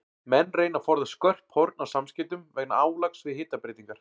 Menn reyna að forðast skörp horn á samskeytum vegna álags við hitabreytingar.